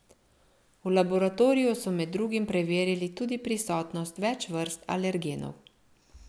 V laboratoriju so med drugim preverili tudi prisotnost več vrst alergenov.